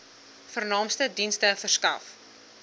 vernaamste dienste verskaf